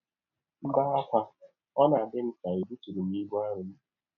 M bee ákwá, ọ na - adị m ka è bụtụrụ m ibụ arọ m bụ.